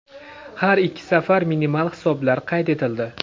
Har ikki safar minimal hisoblar qayd etildi.